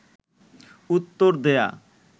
উত্তর দেয়া